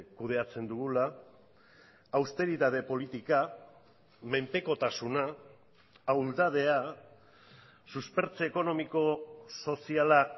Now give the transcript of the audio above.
kudeatzen dugula austeritate politika menpekotasuna ahuldadea suspertze ekonomiko soziala